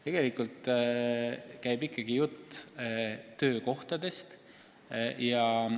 Tegelikult käib ikkagi jutt töökohtadest.